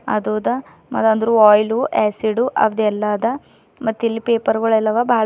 ಅದುದ ಮತ್ತ ಅಂದ್ರು oil acid ಅದೆಲ್ಲಾ ಅದ ಮತ್ತಿಲ್ಲಿ ಪೇಪರ್ಗುಳೆಲ್ಲಾ ಅವ ಬಹಳ--